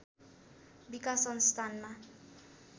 विकास संस्थानमा